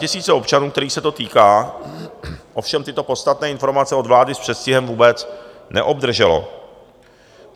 Statisíce občanů, kterých se to týká, ovšem tyto podstatné informace od vlády s předstihem vůbec neobdržely.